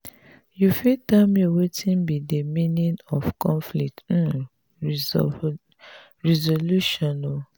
you fit tell me wetin be di meaning of conflict um resolution? um